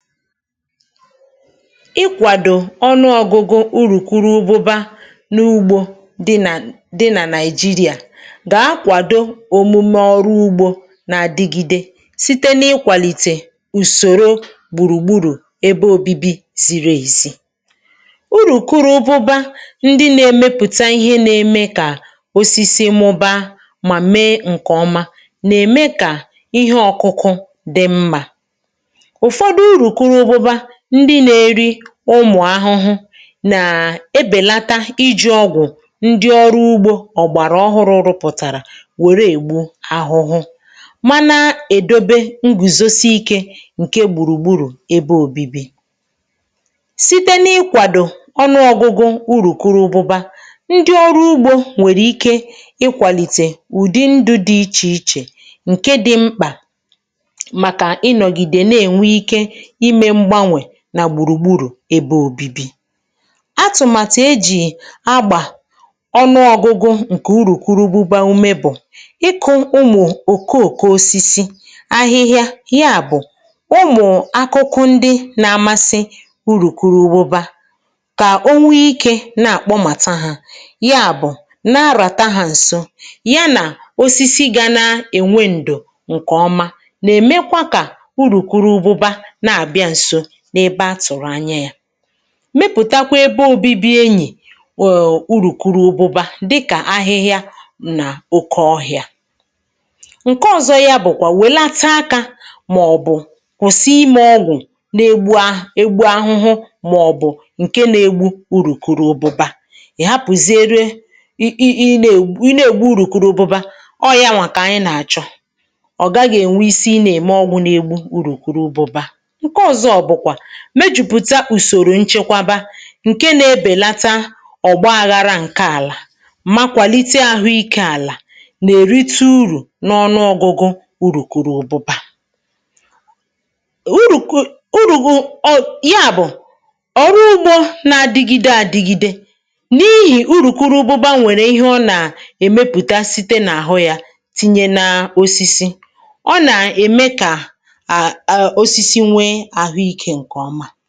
ikwàdò ọnụ ọgụgụ urù kụrụ ụgbụba n’ugbȯ di nà di nà nàịjirịà gàa akwàdo òmume ọrụ ugbȯ nà-adigide site n’ịkwàlìtè ùsòro gbùrùgburù ebe òbibi ziri èzi urù kụrụ ụgbụba ndị na-emepùta ihe na-eme kà osisi mụba mà mee ǹkè ọma nà-ème kà ihe ọkụkụ dị mma ụmụ̀ ahụhụ nà-ebèlata iji̇ ọgwụ̀ ndị ọrụ ugbȯ ọ̀gbàrà ọhụrụ̇ rụpụ̀tàrà wère ègbu ahụhụ ma nà-èdobe n gùzosi ikė ǹke gbùrùgburù ebe òbibi site n’ịkwàdò ọnụọgụgụ urù kụrụ ugbȯ ndị ọrụ ugbȯ nwèrè ike ikwàlìtè ụ̀dị ndụ dị ichè ichè ǹke dị̇ mkpà ebe òbibi àtụ̀màtụ̀ e jì agbà ọnụọgụgụ ǹkè urùkuru ugbuba um ume bụ̀ ịkụ ụmụ̀ òkoòko osisi ahịhịa ya bụ̀ ụmụ̀ akụkụ ndị na-amasị urùkuru ugbuba kà o nwee ikė na-àkpọmàtà ha ya bụ̀ na-arà tajà ǹsụ ya nà osisi ga n’enwe ǹdù ǹkè ọma nà-èmekwa kà mepụ̀takwa ebe obibi enyì wuuurùkwuru obuba dịkà ahịhịa n’oke ọhị̇ȧ nke ọzọ yȧ bụ̀kwà wèlata akȧ màọ̀bụ̀ kwụsị imė ọgwụ̀ na-egbu ahụ̀, egbu ahụhụ um màọ̀bụ̀ nkè na-egbu urùkwuru obuba ị̀ hapụ̀ zere i i neè, i na-egbu urùkwuru obuba ọrụ̀ yanwà kà anyị̀ na-achọ̀ ọ̀ gaghị̇ ènwe isi i na-ème ọgwụ̀ n’egbu urùkwuru obuba mejùpùta ùsòrò nchekwaba ǹke nȧ-ebèlata ọ̀gbaaghara ǹke àlà makwàlite um ahụ ikė àlà nà-èrite urù n’ọnụọ̇gụ̇gụ̇ urùkùrù òbụba òrùkù ọ̀ ya bụ̀ ọ̀rụ ugbȯ na-adigide àdigide n’ihì urùkuru ùbụba nwèrè ihe ọ nà-èmepùta site n’àhụ yȧ tinye nȧ osisi ọ nà-ème kà ǹkè ǹkè ọma